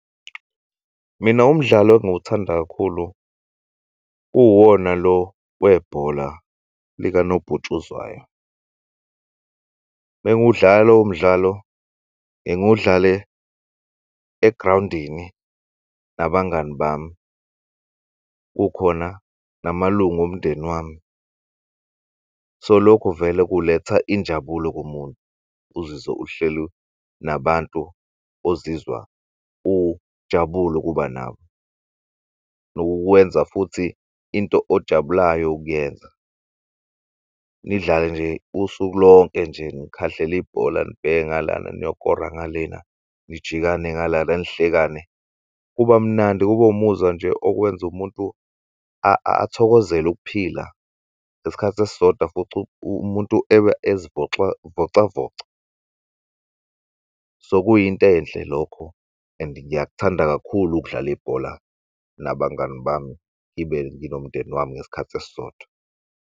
Mina umdlalo engiwuthanda kakhulu uwona lo webhola likanobhutshuzwayo. Mengiwudlala lowomdlalo ngiwudlale egrawundini nabangani bami kukhona namalung'omndeni wami. So lokho vele kuletha injabulo kumuntu uzizwe uhleli nabantu ozizwa ujabulu'kuba nabo nokukwenza futhi into ojabulayo ukuyenza, nidlale nje usuku lonke nje nikhahlel'bhola nibheke ngalana nikore ngalena nijikane ngalana nihlekane kuba mnandi kube umuzwa nje okwenz'umuntu athokozel'ukuphila ngesikhathi esisodwa futhi umuntu eba azivocavoca. So kuyintenhle lokho and ngiyakuthanda kakhulu ukudlala ibhola nabangani bami ngibe nginomndeni wami ngesikhathi esisodwa.